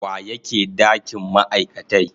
wa yake dakin ma'aikatai.